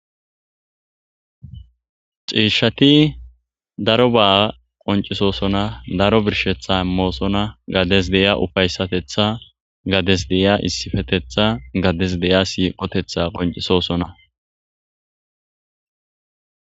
Cishati daroba go'osona daroba qoncisosona gades de'iya ufaysatetha gades de'iya issifetetha gades de'iya siqotetha qoncisosona